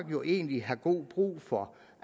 jo egentlig have god brug for